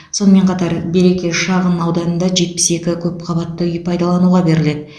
сонымен қатар береке шағын ауданында жетпіс екі көп қабатты үй пайдалануға беріледі